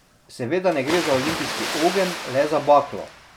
Seveda ne gre za olimpijski ogenj, le za baklo.